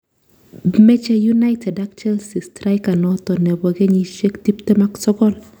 Meche united ak chelsea striker noto nebo kenyishek tiptem ak sogol